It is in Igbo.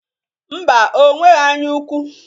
Ḿbà, onweghi anyaukwu